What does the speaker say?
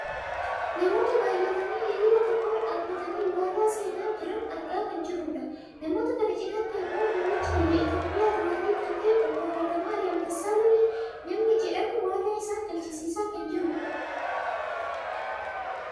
namoota baayyatanii hiriira tokko irra dhaabbatanii waadaa seenaa jirn argaa kan jirrudha. namoota kana cinaatti ammoo muummicha biyya Itoopiyaa duraanii kan ta'e obbo Hayilemaarihaam Dassaalenyi namni jedhamu waadaa isaan galchisiisaa kan jirudha.